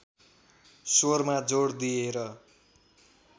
स्वरमा जोड दिएर